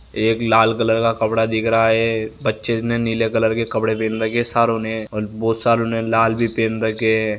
एक लाल कलर का कपडा दिख रहा है बच्चे ने नीले कलर के कपडे पहन रखे है और बहुत सारे ने लाल भी पहन रखे है।